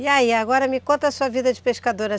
E aí, agora me conta a sua vida de pescadora.